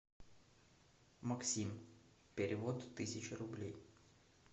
максим перевод тысяча рублей